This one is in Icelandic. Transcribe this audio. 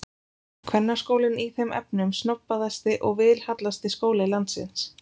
Kvennaskólinn í þeim efnum snobbaðasti og vilhallasti skóli landsins.